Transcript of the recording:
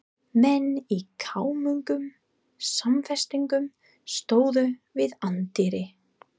Menn í kámugum samfestingum stóðu við anddyri.